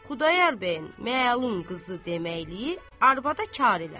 Xudayar bəyin məlum qızı deməkliyi arvada kar elədi.